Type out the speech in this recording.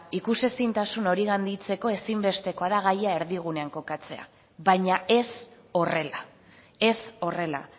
ikusezintasun hori gainditzeko ezinbestekoa da gaia erdigunean kokatzea baina ez horrela ez horrela